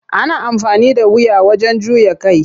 Ana amfani da wuya wajen juya kai.